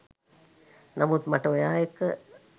නමුත් මට ඔයා එක්ක